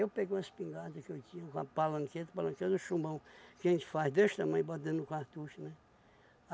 peguei uma espingarda que eu tinha, uma palanqueta, palanqueta do chumbão, que a gente faz desse tamanho e bota dentro do cartucho, né?